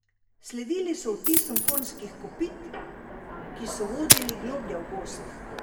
Sledili so odtisom konjskih kopit, ki so vodili globlje v gozd.